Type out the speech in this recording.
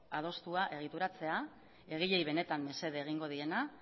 adostua egituratzea egileei benetan mesede egingo diena